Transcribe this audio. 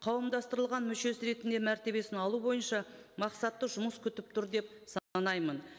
қауымдастырылған мүшесі ретінде мәртебесін алу бойынша мақсатты жұмыс күтіп тұр деп